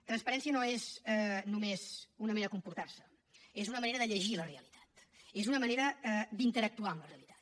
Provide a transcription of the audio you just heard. transparència no és només una manera de comportar se és una manera de llegir la realitat és una manera d’interactuar amb la realitat